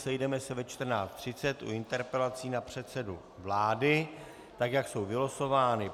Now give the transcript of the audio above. Sejdeme se ve 14.30 u interpelací na předsedu vlády, tak jak jsou vylosovány.